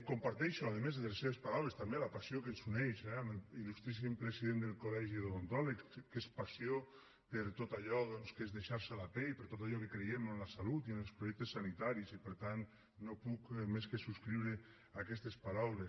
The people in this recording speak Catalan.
comparteixo a més de les seves paraules la passió que ens uneix amb l’il·lustríssim president del col·legi d’odontòlegs que és passió per tot allò doncs que és deixar se la pell per tot allò que creiem en la salut i en els projectes sanitaris i per tant no puc més que subscriure aquestes paraules